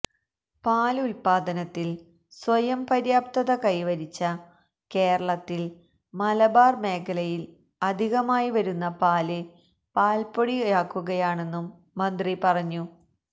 പാല് ഉല്പാദത്തില് സ്വയം പര്യാപ്തത കൈവരിച്ച കേരളത്തില് മലബാര് മേഖലയില് അധികമായി വരുന്ന പാല് പാല്പ്പൊടിയാക്കുകയാണെന്നും മന്ത്രി പറഞ്ഞു